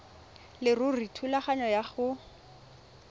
leruri thulaganyo ya go